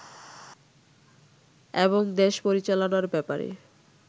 এবং দেশ পরিচালনার ব্যাপারে